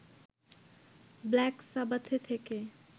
black সাবাথে থেকে